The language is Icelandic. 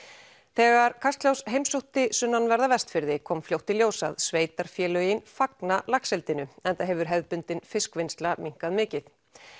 þegar Kastljós heimsótti sunnanverða Vestfirði kom fljótt í ljós að sveitarfélögin fagna laxeldinu enda hefur hefðbundin fiskvinnsla minnkað mikið